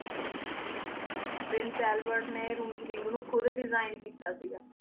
Prince Alfred ਨੇ ring ਨੂ ਖੁਦ ਦੇਸਿਗਣ ਕੀਤਾ ਸੀਗਾ